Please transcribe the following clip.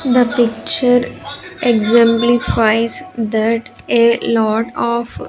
The picture exemplifies that a lot of --